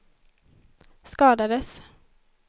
skadades